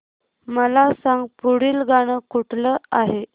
मला सांग पुढील गाणं कुठलं आहे